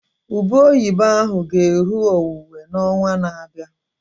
Ube oyibo ahụ ga eru owuwe na onwa na abịa